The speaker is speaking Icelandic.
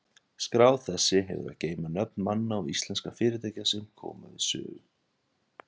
Skrá þessi hefur að geyma nöfn manna og íslenskra fyrirtækja, sem við sögu koma.